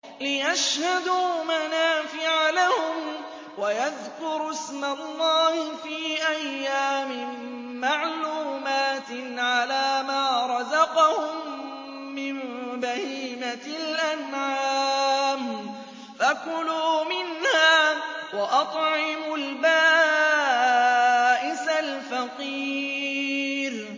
لِّيَشْهَدُوا مَنَافِعَ لَهُمْ وَيَذْكُرُوا اسْمَ اللَّهِ فِي أَيَّامٍ مَّعْلُومَاتٍ عَلَىٰ مَا رَزَقَهُم مِّن بَهِيمَةِ الْأَنْعَامِ ۖ فَكُلُوا مِنْهَا وَأَطْعِمُوا الْبَائِسَ الْفَقِيرَ